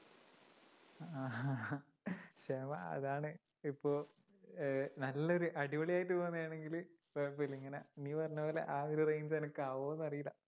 ക്ഷമ അതാണ് ഇപ്പൊ അഹ് നല്ല ഒരു അടിപൊളിയായിട്ടു പോവുന്നതാണെങ്കിൽ കൊഴപ്പമില്ല ഇങ്ങനെ നീ പറഞ്ഞപോലെ ആ ഒരു range എനിക്ക് ആവോന്നറിയില്ല